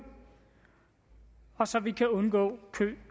og så vi kan undgå kø